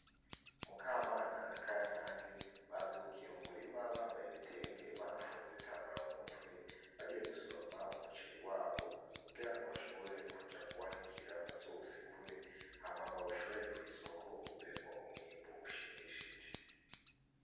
Mukamana na kanyange bavyukiye mu murima bambaye ibitenge banafunze ibitambara mu mutwe, bagiye gusoroma umuceri wabo, kugira ngo bashobore kuja kuwanikira bazowusekure hama bawushore kw'isoko uvemwo umwimbu ushimishije.